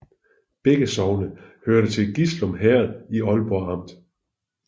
Begge sogne hørte til Gislum Herred i Aalborg Amt